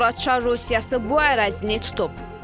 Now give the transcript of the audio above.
Sonra Çar Rusiyası bu ərazini tutub.